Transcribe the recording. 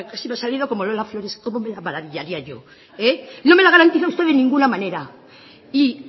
casi me ha salido como lola flores como me maravillaría yo no me la garantiza usted de ninguna manera y